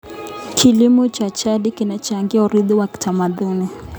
Kilimo cha jadi kinachangia urithi wa kitamaduni.